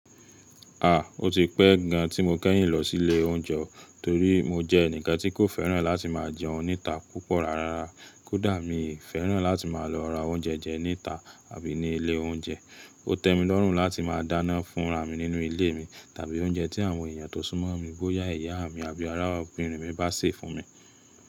À, o ti pẹ́ gan tí mo kẹ́yìn lọ sí ilé oúnjẹ torí mo jẹ́ ẹnìkan tí kò fẹ́ràn láti máa jẹun níta púpọ̀ rárá. Kódà mi ò fẹ́ràn láti máa lọ ra oúnjẹ jẹ níta àbí ní ilé oúnjẹ. Ó tẹ́ mi lọ́rùn láti máa dáná fúnra mi nínú ilé mi tàbí oúnjẹ tí àwọn èèyàn tó súnmọ́ mi bóyá ìyá mi àbí ará obìnrin mi bá sè fún mi.